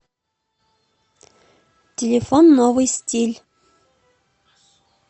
телефон новый стиль